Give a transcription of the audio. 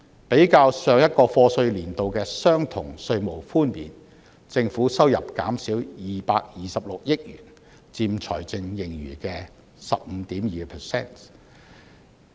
比較上個課稅年度的相同稅務寬免，政府收入減少226億元，佔財政盈餘的 15.2%。